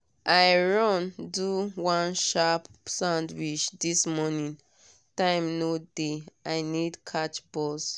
i run do one sharp sandwich this morning time no dey i need catch bus.